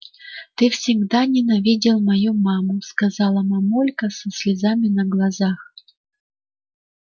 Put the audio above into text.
ты всегда ненавидел мою маму сказала мамулька со слезами на глазах